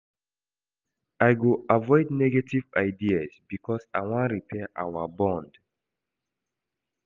I go avoid negative ideas because I wan repair our bond.